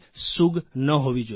સૂગ ન હોવી જોઇએ